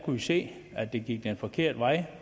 vi se at det gik den forkerte vej